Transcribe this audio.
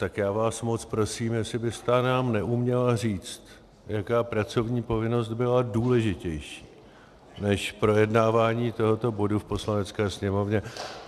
Tak já vás moc prosím, jestli byste nám neuměla říct, jaká pracovní povinnost byla důležitější než projednávání tohoto bodu v Poslanecké sněmovně.